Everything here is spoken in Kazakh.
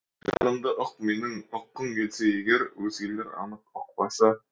жанымды ұқ менің ұққың келсе егер өзгелер анық ұқпасы